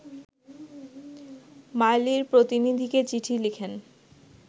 মাইলির প্রতিনিধিকে চিঠি লিখেন